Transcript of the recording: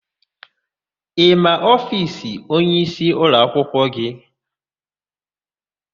Ị ma ofiisi onyeisi ụlọakwụkwọ gị?